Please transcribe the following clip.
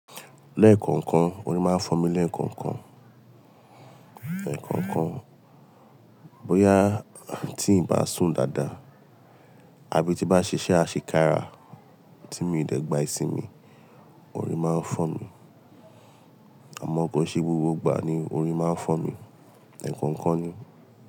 Lẹ́ẹ̀kọ̀ọ̀kan, orí máa ń fọ́ mi lẹ́ẹ̀kọ̀ọ̀kan. Ẹ̀ẹ̀kọ̀ọ̀kan, bóyá tí ǹ bá sùn dáadáa àbí tí bá ṣíṣe àṣekara tí mí dẹ̀ gba ìsinmi, orí máa ń fọ́ mi. Àmọ́ kó ṣe gbogbo ìgbà ni orí máa ń fọ́ mi, ẹ̀ẹ̀kọ̀ọ̀kan ni.